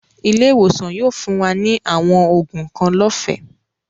Ilẹ̀-iwosan yóò fún wa ni awọn oogun kan lọ́fẹ̀